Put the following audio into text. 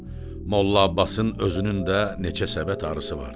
Molla Abbasın özünün də neçə səbət arısı vardı.